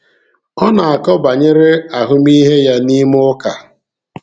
Ọ na-akọ banyere ahụmịhe ya n’ime ụka.